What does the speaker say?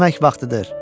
Yemək vaxtıdır.